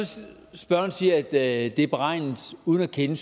spørgeren siger at det er beregnet uden at kende